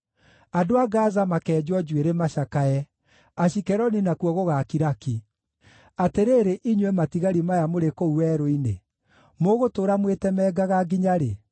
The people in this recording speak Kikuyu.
Andũ a Gaza makeenjwo njuĩrĩ macakae; Ashikeloni nakuo gũgaakira ki. Atĩrĩrĩ, inyuĩ matigari maya mũrĩ kũu werũ-inĩ, mũgũtũũra mwĩtemangaga nginya-rĩ?